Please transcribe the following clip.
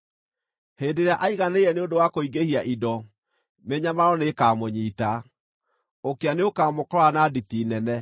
Hĩndĩ ĩrĩa aiganĩire nĩ ũndũ wa kũingĩhia indo, mĩnyamaro nĩĩkamũnyiita; ũkĩa nĩũkamũkora na nditi nene.